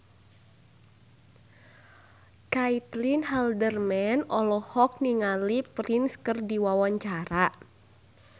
Caitlin Halderman olohok ningali Prince keur diwawancara